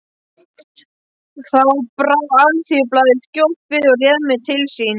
Þá brá Alþýðublaðið skjótt við og réð mig til sín.